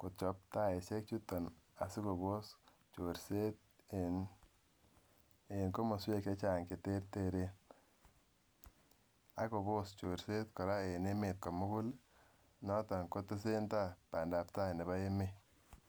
kochop taishek chuton asikopos chorset en en komoswek chechang cheterteren ak Kobos Koraa chorset en emet komugul noton kotesen tai pandap tai nebo emet.